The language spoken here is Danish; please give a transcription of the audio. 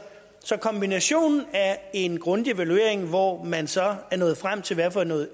så kombinationen af en grundig evaluering hvor man så er nået frem til hvad for noget